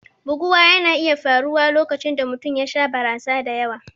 Buguwa na iya faruwa lokacin da mutum ya sha barasa da yawa.